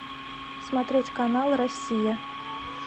смотреть канал россия